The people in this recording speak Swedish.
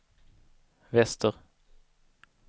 väster